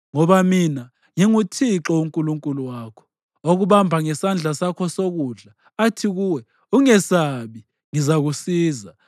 Ngoba mina nginguThixo uNkulunkulu wakho, okubamba ngesandla sakho sokudla athi kuwe: Ungesabi; ngizakusiza.